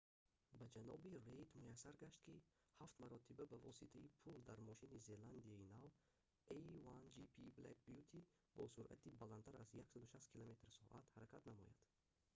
ба ҷаноби рейд муяссар гашт ки ҳафт маротиба ба воситаи пул дар мошини зеландияи нав a1gp black beauty бо суръати баландтар аз 160 км/с ҳаракат намояд